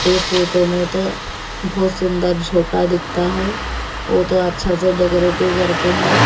ये फोटो में तो बहुत सुंदर झोपड़ा दिखता है वो तो अच्छा से डेकोरेटिव करके है।